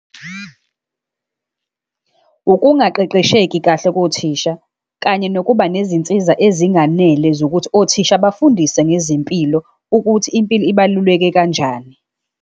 Ukungaqeqesheki kahle kothisha, kanye nokuba nezinsiza ezinganele zokuthi othisha bafundise ngezempilo, ukuthi impilo ibaluleke kanjani.